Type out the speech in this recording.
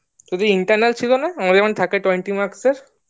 তোদের internal ছিল না আমাদের যেমন থাকে twenty marks এর